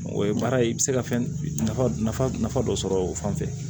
O ye baara ye i bɛ se ka fɛn nafa nafa dɔ sɔrɔ o fan fɛ